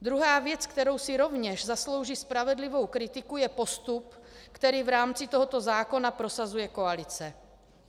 Druhá věc, která si rovněž zaslouží spravedlivou kritiku, je postup, který v rámci tohoto zákona prosazuje koalice.